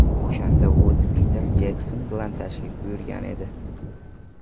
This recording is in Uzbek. O‘shanda Vud Piter Jekson bilan tashrif buyurgan edi.